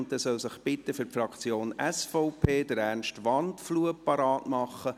Und dann soll sich bitte für die Fraktion SVP Ernst Wandfluh bereitmachen.